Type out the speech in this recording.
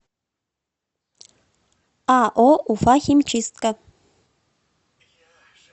ао уфахимчистка